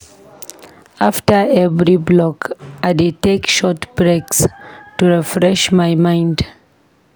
After every block, I dey take short breaks to refresh my mind.